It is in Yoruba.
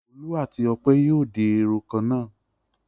Olú àti Ọpẹ́ yóò di irun kan náà.